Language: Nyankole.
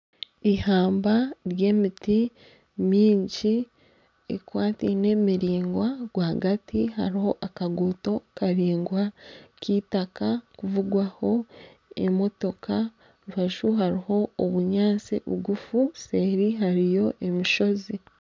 Ihamba ry'emiti mingi ekwataine miringwa rwagati hariho akaguuto karaingwa k'eitaka kuvugwaho emotoka aha rubaju hariho obunyaatsi bugufu seeri hariyo emishozi